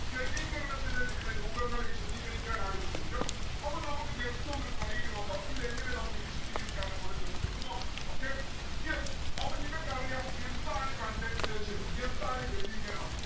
ഘനീകരണത്തിന്റെ വിവിധ രൂപങ്ങള് വിശതീകരിക്കാനാണ് ചോദ്യം. അപ്പം നമ്മക്ക് just ഒന്ന് try എയ്ത നോക്കാം. ഇതെങ്ങനെ നമ്മുക്ക് വിശതീകരിക്കാമെന്ന് കൂടെ just ഒന്ന് നോക്കാം. okay yes അപ്പൊ നിങ്ങക്ക് അറിയാം എന്താണ് condensation എന്താണ് ഘനീകരണം